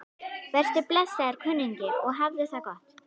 Vertu blessaður, kunningi, og hafðu það gott.